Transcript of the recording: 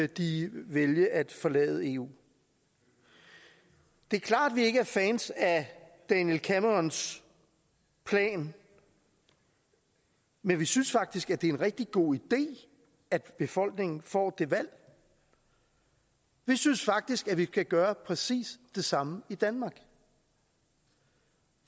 de vælge at forlade eu det er klart at vi ikke er fans af david camerons plan men vi synes faktisk at det er en rigtig god idé at befolkningen får det valg vi synes faktisk at vi skal gøre præcis det samme i danmark